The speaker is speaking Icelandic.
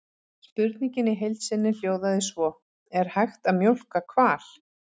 Spurningin í heild sinni hljóðaði svo: Er hægt að mjólka hval?